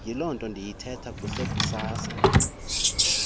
yilonto ndiyithetha kusekusasa